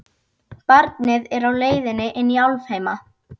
Barnið er á leið inn í álfheima.